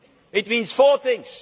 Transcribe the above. It means four things.